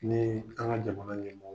Ni ye an ka jamana ɲɛmɔ